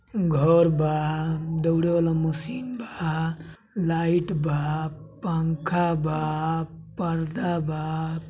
घर बा दौड़े वाला मशीन बा लाइट बा पंखा बा पर्दा बा।